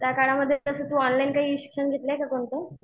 त्याकाळामध्ये तसं तू काही ऑनलाईन शिक्षण घेतलंय का कोणतं?